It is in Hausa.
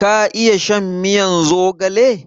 Ka iya shan miyan zogale?